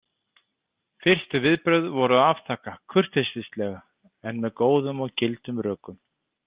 Fyrstu viðbrögð voru að afþakka, kurteislega en með góðum og gildum rökum.